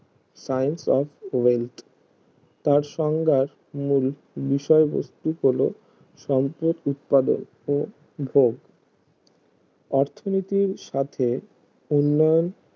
science of wealth তার সংজ্ঞার মূল বিষয় বস্তু হলো সম্পদ উৎপাদক ও ভোগ অর্থনীতির সাথে উন্নয়ন